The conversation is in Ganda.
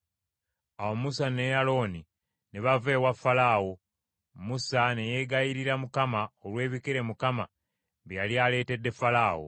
Awo Musa ne Alooni ne bava ewa Falaawo. Musa ne yeegayirira Mukama olw’ebikere Mukama bye yali aleetedde Falaawo.